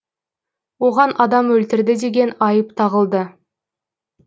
оған адам өлтірді деген айып тағылды